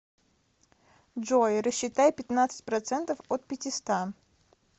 джой рассчитай пятнадцать процентов от пятиста